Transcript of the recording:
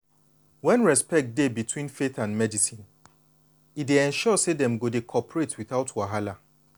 when respect dey between faith and medicine e dey ensure say dem go dey cooperate without wahala.